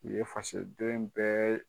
U ye faso den bɛɛ ye